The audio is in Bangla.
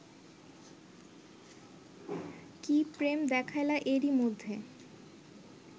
কি প্রেম দেখাইলা এরই মধ্যে